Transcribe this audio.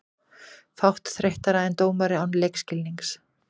Fátt þreyttara en dómari án leikskilnings.